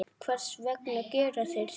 Hvers vegna gera þeir það?